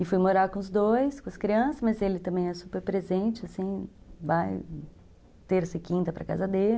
E fui morar com os dois, com as crianças, mas ele também é super presente, assim, vai terça e quinta para casa dele.